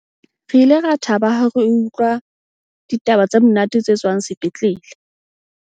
Re ile ra thaba ha re utlwa ditaba tse monate tse tswang sepetlele.